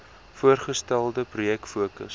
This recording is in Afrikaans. voorgestelde projek fokus